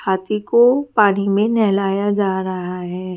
हाथी को पानी मे नहलाया जा रहा है।